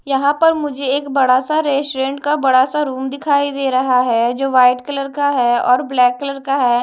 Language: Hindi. यहां पर मुझे एक बड़ा सा रेस्टोरेंट का बड़ा सा रूम दिखाई दे रहा है जो व्हाइट कलर का है और ब्लैक कलर का है।